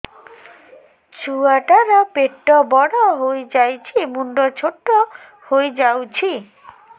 ଛୁଆ ଟା ର ପେଟ ବଡ ହେଇଯାଉଛି ମୁଣ୍ଡ ଛୋଟ ହେଇଯାଉଛି